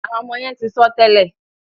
àwọn ọmọ yén tí sọ tèlé.